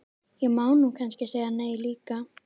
Ég má nú kannski segja nei líka.